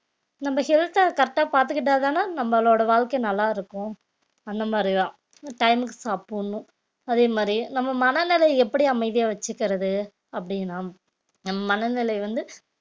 நம்ம health அ correct ஆ பார்த்துக்கிட்டாதானே நம்மளோட வாழ்க்கை நல்லா இருக்கும் அந்த மாதிரிதான் time க்கு சாப்பிடணும் அதே மாதிரி நம்ம மனநிலை எப்படி அமைதியா வச்சுக்கிறது அப்படின்னா நம் மனநிலை வந்து